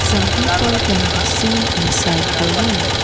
some people can be seen inside the room.